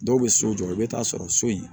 Dɔw bɛ so jɔ i bɛ taa sɔrɔ so in